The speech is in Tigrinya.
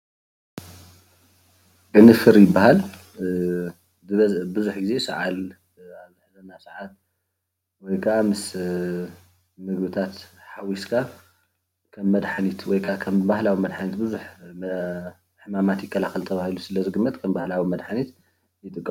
ቅንፍር ይበሃል። ቡዙሕ ግዜ ሰዓል ኣብ ዝሐዘካ ሰዓት ወይክዓ ምስ ምግብታት ሓዊስካ ከም መድሓኒት እዩ ተባሂሉ ስለ ዝግመት ከም ባህላዊ መድሓኒት የገልግል።